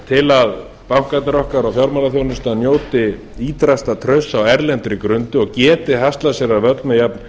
til að bankarnir okkar og fjármálaþjónustan njóti ýtrasta trausts á erlendri grundu og geti haslað sér völl með